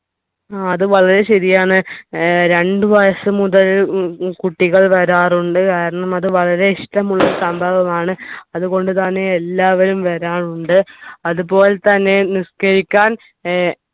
ആ അത് വളരെ ശരിയാണൊ ഏർ രണ്ടു വയസ്സ് മുതൽ ഏർ കുട്ടികൾ വരാറുണ്ട് കാരണം അത് വളരെ ഇഷ്ടമുള്ള സംഭവമാണ് അതുകൊണ്ടു തന്നെ എല്ലാവരും വരാറുണ്ട് അതുപോലെ തന്നെ നിസ്കരിക്കാൻ ഏർ